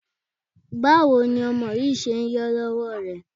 Báwo ni ọmọ yìí ṣe ń yọ lọ́wọ́ rẹ?